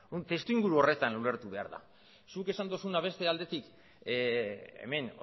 testuinguru horretan ulertu behar da zuk esan duzuna beste aldetik hemen